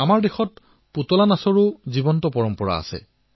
ভাৰতত কাঠপুতলাৰ জীৱন্ত পৰম্পৰা আছে